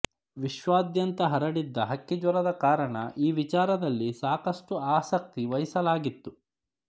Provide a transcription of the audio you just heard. ವಿಶ್ವಾದ್ಯಂತ ಹರಡಿದ್ದ ಹಕ್ಕಿ ಜ್ವರದ ಕಾರಣ ಈ ವಿಚಾರದಲ್ಲಿ ಸಾಕಷ್ಟು ಆಸಕ್ತಿ ವಹಿಸಲಾಗಿತ್ತು